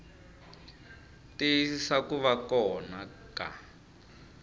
tiyisisa ku va kona ka